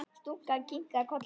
Stúlkan kinkar kolli.